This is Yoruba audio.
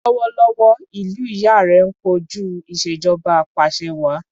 Lọ́wọ́lọ́wọ́, ìlú ìyá rẹ ń kojú ìṣèjọba apàṣẹwàá.